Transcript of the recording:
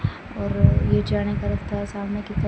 और ये जाने का रास्ता है सामने की तर --